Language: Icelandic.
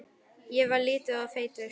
Ég var lítill og feitur.